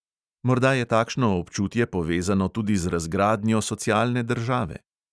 Morda je takšno občutje povezano tudi z razgradnjo socialne države?